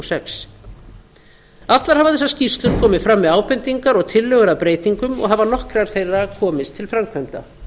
sex allar hafa þessar skýrslur komið fram með ábendingar og tillögur að breytingum og hafa nokkrar þeirra komist til framkvæmda